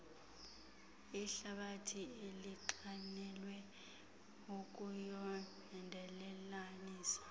ihlabathi elinxanelwe ukuyondelelanisa